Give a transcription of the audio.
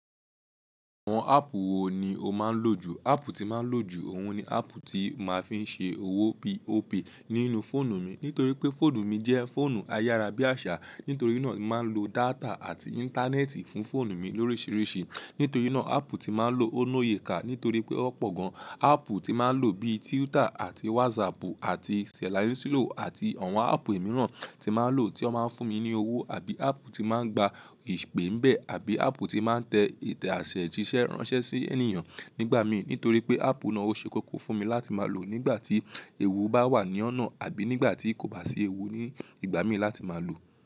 Àwọn áàpù wo ni o máa ń lò jù? Áàpù tí máa ń lò jù òun ni áàpù tí màá fi ń ṣe owó P.O.P nínú fóònù mi. Nítorí pé fóònù mi jẹ́ fóònù ayárá bí àṣá, nítorí náà màá ń lo data àti íńtánẹ́ẹ̀tì fún fóònù mi lórisiríṣi. Nítorí náà áàpù tí màá ń lò ó lóyeeka nítorí pé ó pọ̀ gan. Áàpù tí màá ń lò bíi Twitter àti WhatsApp àti Selanísílò àti àwọn áàpù mìíràn tí màá ń lò tí ó máa ń fún mi ní owó àbí áàpù tí màá ń gba ìpè ń bẹ àbí áàpù tí màá ń tẹ ìtẹ̀ àṣẹ jíṣẹ́ ránṣẹ́ sí ẹniyan nígbà mí. Nítorí pé áàpù náà ó ṣe kókó fún mi láti máa lò nígbà tí ewu bá wà ní ọ̀nà àbí nígbà tí kò bá sí ewu ní ìgbà mí láti máa lò.